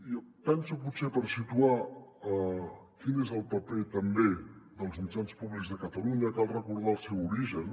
i penso potser per situar quin és el paper també dels mitjans públics de catalunya cal recordar el seu origen